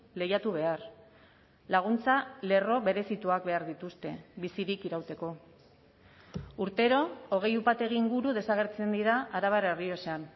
lehiatu behar laguntza lerro berezituak behar dituzte bizirik irauteko urtero hogei upategi inguru desagertzen dira arabar errioxan